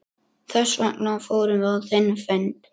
Hann sá að Dalamenn voru vopnaðir bareflum og öxum.